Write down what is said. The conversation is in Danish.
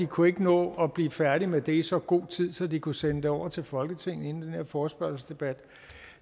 kunne nå at blive færdige med det i så god tid at de kunne sende det over til folketinget inden den her forespørgselsdebat